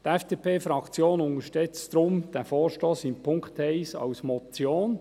Die FDP-Fraktion unterstützt deshalb diesen Vorstoss in Punkt 1 als Motion.